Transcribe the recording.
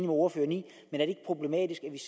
ordføreren i men